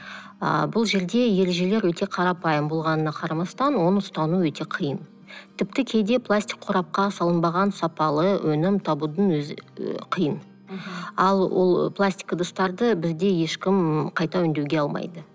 ы бұл жерде ережелер өте қарапайым болғанына қарамастан оны ұстану өте қиын тіпті кейде пластик қорапқа салынбаған сапалы өнім табудың өзі ы қиын мхм ал ол пластик ыдыстарды бізде ешкім қайта өңдеуге алмайды